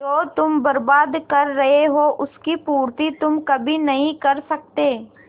जो तुम बर्बाद कर रहे हो उसकी पूर्ति तुम कभी नहीं कर सकते